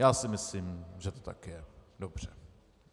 Já si myslím, že to tak je dobře.